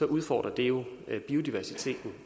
udfordrer det jo biodiversiteten